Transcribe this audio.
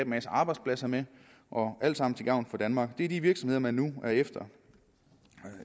masse arbejdspladser med alt sammen til gavn for danmark det er de virksomheder man nu er efter